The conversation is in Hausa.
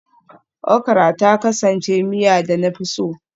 Okra ta kasance miya da na fi so